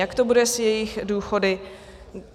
Jak to bude s jejich důchody?